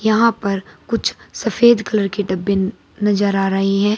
यहां पर कुछ सफेद कलर के डब्बे नजर आ रही है।